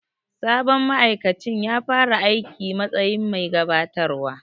Sabon ma'aikacin ya fara aiki s matsayin bai gabatarwa.